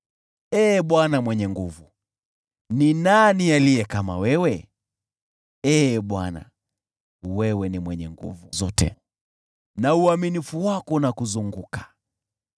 Ee Bwana Mwenye Nguvu Zote, ni nani aliye kama wewe? Ee Bwana , wewe ni mwenye nguvu, na uaminifu wako unakuzunguka.